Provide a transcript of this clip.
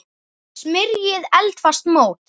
Smyrjið eldfast mót.